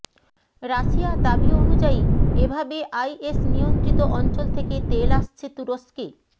Russia দাবি অনুযায়ী এভাবে আইএস নিয়ন্ত্রিত অঞ্চল থেকে তেল আসছে তুরস্কে